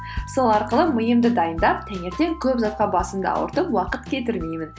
сол арқылы миымды дайындап таңертең көп затқа басымда ауыртып уақыт кетірмеймін